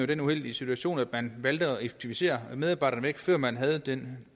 den uheldige situation at man valgte at effektivisere medarbejderne væk før man havde den